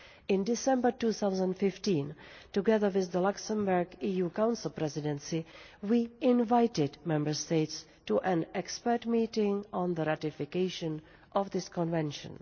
In December 2015, together with the Luxembourg EU Council Presidency, we invited Member States to an expert meeting on the ratification of this Convention.